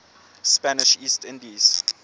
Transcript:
spanish east indies